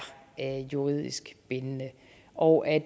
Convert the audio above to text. juridisk bindende og at